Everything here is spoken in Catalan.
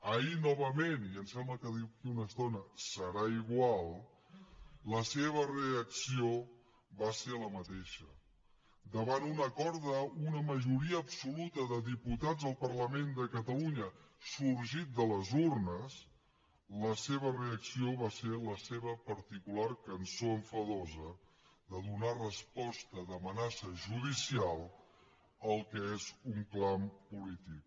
ahir novament i em sembla que d’aquí a una estona serà igual la seva reacció va ser la mateixa davant d’un acord d’una majoria absoluta de diputats al parlament de catalunya sorgit de les urnes la seva reacció va ser la seva particular cançó enfadosa de donar resposta d’amenaça judicial al que és un clam polític